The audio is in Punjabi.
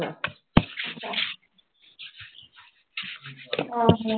ਆਹੋ।